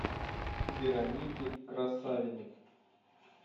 вероники красавиной